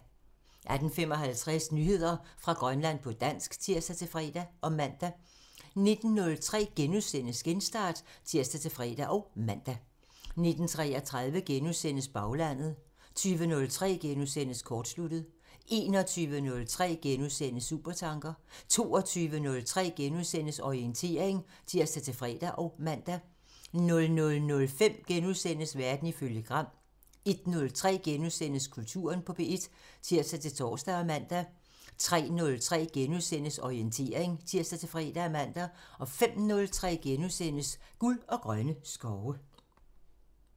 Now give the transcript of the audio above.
18:55: Nyheder fra Grønland på dansk (tir-fre og man) 19:03: Genstart *(tir-fre og man) 19:33: Baglandet *(tir) 20:03: Kortsluttet *(tir) 21:03: Supertanker *(tir) 22:03: Orientering *(tir-fre og man) 00:05: Verden ifølge Gram *(tir) 01:03: Kulturen på P1 *(tir-tor og man) 03:03: Orientering *(tir-fre og man) 05:03: Guld og grønne skove *(tir)